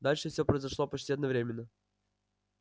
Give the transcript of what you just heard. дальше все произошло почти одновременно